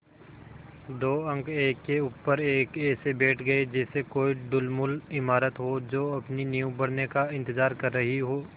दो अंक एक के ऊपर एक ऐसे बैठ गये जैसे कोई ढुलमुल इमारत हो जो अपनी नींव भरने का इन्तज़ार कर रही हो